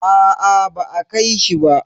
Aa ba a kai shi ba.